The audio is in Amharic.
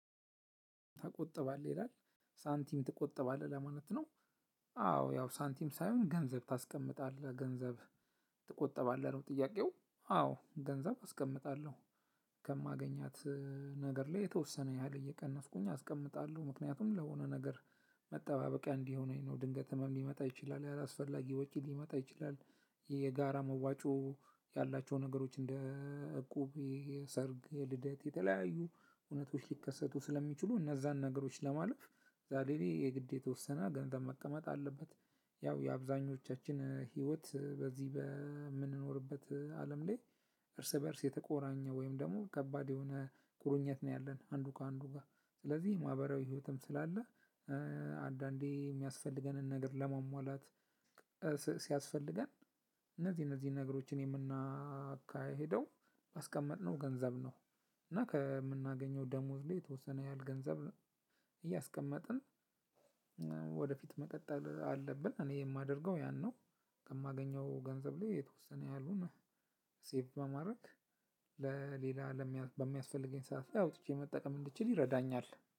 ትቆጥባለህ? ይላል ሳንቲም ትቆጥባለህ ወይ? ለማለት አዎ ያው ሳንቲም ሳይሆን ገንዘብ ታስቀምጣለህ ገንዘብ ትቆጠባለህ? ነው ጥያቄው አዎ ገንዘብ አስቀምጣለሁ ከማገኛት ነገር ላይ የተወሰነ ያህል እየቀነስኩኝ አስቀምጣለሁ ምክንያቱም ለሆነ ነገር መጠባበቂያ እንዲሆነኝ ነው ድንገት ህመም ሊመጣ ይችላል ያላስፈላጊ ወጪ ሊመጣ ይችላል የጋራ መዋጮ ያላቸው ነገሮች እንደ እቁብ፣ የሰርግ፣ የልደት የተለያዩ ሁነቶች ሊከሰቱ ስለሚችሉ እነዛን ነገሮች ለማለፍ ዛሬ ላይ የግድ የተወሰነ ገንዘብ መቀመጥ አለበት ያው የአብዛኞቻችን ህይወት በዚህ በምንኖርበት አለም ላይ እርስ በእርስ የተቆራኘ ወይም ደግሞ ከባድ የሆነ ቁርኝት ነው ያለን አንዱ ከአንዱ ጋር ስለዚህ ማህበራዊ ህይወትም ስላለ አንዳንዴ የሚያስፈልገንን ነገር ለማሟላት ሲያስፈልገን እነዚህ እነዚህ ነገሮችን የምናካሂደው ባስቀመጥነው ገንዘብ ነው እና ከምናገኘው ደሞዝ ላይ የተወሰነ ያህል ገንዘብ እያስቀመጥን ወደፊት መቀጠል አለብን እኔ የማደርገው ያን ነው ከማገኘው ገንዘብ ላይ የተወሰነ ያህሉን ሴቭ በማድረግ ለሌላ በሚያስፈልገኝ ሰዓት አውጥቼ መጠቀም እንድችል ይረዳኛል።